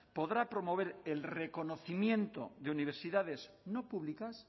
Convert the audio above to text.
podrá promover el reconocimiento de universidades no públicas